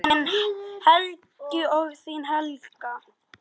Þinn Helgi og þín Helga.